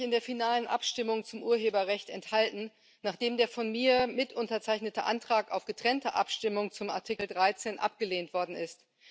Ich habe mich in der finalen Abstimmung zum Urheberrecht enthalten, nachdem der von mir mitunterzeichnete Antrag auf getrennte Abstimmung zum Artikel 13 abgelehnt worden ist.